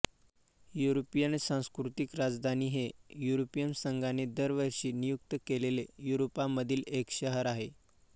European सांस्कृतिक राजधानी हे युरोपियन संघाने दरवर्षी नियुक्त केलेले युरोपामधील एक शहर आहे